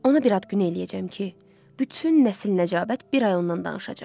Ona bir ad günü eləyəcəm ki, bütün nəsil-nəcabət bir ay ondan danışacaq.